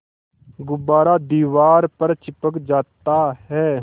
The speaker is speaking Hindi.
गुब्बारा दीवार पर चिपक जाता है